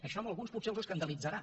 això a alguns potser els escandalitzarà